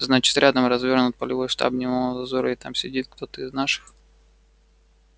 значит рядом развёрнут полевой штаб дневного дозора и там сидит кто-то из наших